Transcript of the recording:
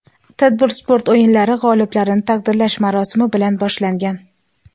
Tadbir sport o‘yinlari g‘oliblarini taqdirlash marosimi bilan boshlangan.